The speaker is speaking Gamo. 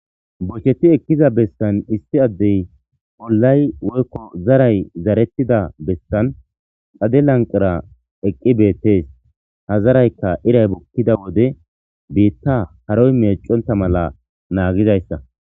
bocheti ekkiza bessan issi addey pollay woykko zaray zarettida bessan xade lanqira eqqi beettees ha zarayka iray bukkida wode biitta haroy meeconta mala naagidayssa